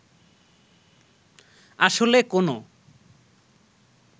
আসলে কোনো